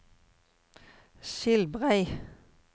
Skilbrei